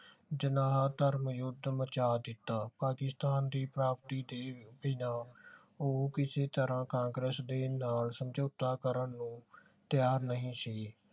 ਜਿਨਾਹ ਧਰਮਯੁੱਧ ਮਚਾ ਦਿੱਤਾ ਪਾਕਿਸਤਾਨ ਦੀ ਪ੍ਰਾਪਤੀ ਦੇ ਬਿਨਾਂ ਉਹ ਕਿਸੇ ਤਰ੍ਹਾਂ ਕਾਂਗਰਸ ਦੇ ਨਾਲ ਸਮਝੌਤਾ ਕਰਨ ਲਈ ਤੈਯਾਰ ਨਹੀਂ ਸੀ